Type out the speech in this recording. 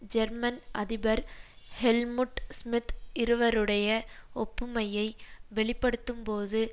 German அதிபர் Helmut Schmidt இருவருடைய ஒப்புமையை வெளிப்படுத்தும்போது